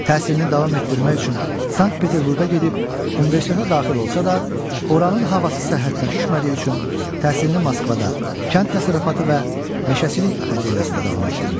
Təhsilini davam etdirmək üçün Sankt-Peterburqa gedib, universitetə daxil olsa da, oranın havası səhhətinə düşmədiyi üçün təhsilini Moskvada, Kənd təsərrüfatı və Meşəçilik Akademiyasında davam etdirmişdir.